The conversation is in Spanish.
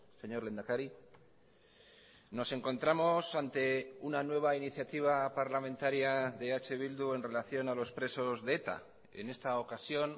señor lehendakari nos encontramos ante una nueva iniciativa parlamentaria de eh bildu en relación a los presos de eta en esta ocasión